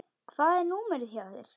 Hvað er númerið hjá þér?